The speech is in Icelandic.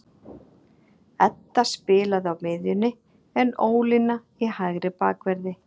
Edda spilaði á miðjunni en Ólína í hægri bakverði.